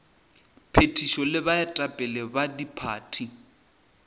phethišo le baetapele ba diphathi